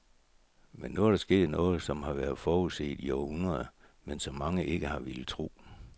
Men nu er der sket noget, som har været forudset i århundreder, men som mange ikke har villet tro.